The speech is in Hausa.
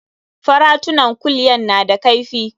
Faratunan kulya na da kaifi.